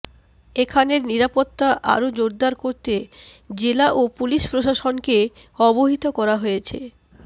এখানের নিরাপত্তা আরো জোরদার করতে জেলা ও পুলিশ প্রশাসনকে অবহিত করা হয়েছে